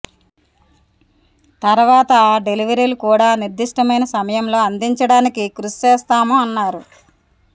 తర్వాతా డెలివరీలు కూడా నిర్దిష్టమైన సమయంలో అందించడానికి కృషి చేస్తాము అన్నారు